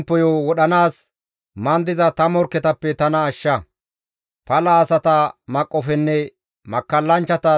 Pala asata maqqofenne makkallanchchata duulatappe tana genththa.